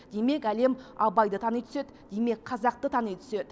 демек әлем абайды тани түседі демек қазақты тани түседі